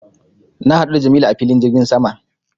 Na haɗu da jamilu a filin jirgin sama